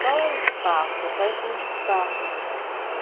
Qual é o espaço, quais são os espaços, assim, entendeu?